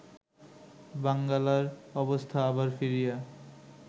বাঙ্গালার অবস্থা আবার ফিরিয়া